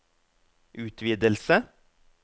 utvidelse